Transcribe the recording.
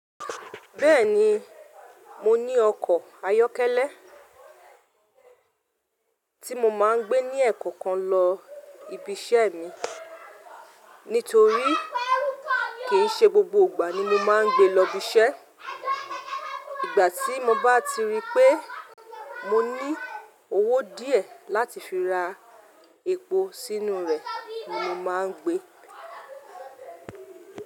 Bẹ́ẹ̀ni, mo ní ọkọ̀ ayọ́kẹ́lẹ́ tí mo máa ń gbé ní ẹ̀ẹ̀koọ̀kan lọ ibi iṣẹ́ mi nítorí kì í ṣe gbogbo gbà ni mo máa ń gbe lọ biṣẹ́. Ìgbà tí mo bá ti rí pé mo ní owó díẹ̀ láti fi ra epo sínú rẹ̀ ni mo máa ń gbe.